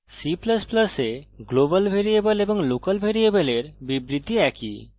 c ++ এ global variable এবং local ভ্যারিয়েবলের বিবৃতি একই